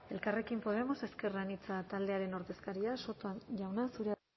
elkarrekin podemos ezker anitza taldearen ordezkaria soto jauna zurea